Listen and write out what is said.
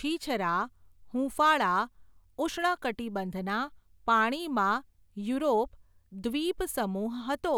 છીછરા, હૂંફાળા, ઉષ્ણકટિબંધના, પાણીમાં, યુરોપ, દ્વિપસમૂહ હતો.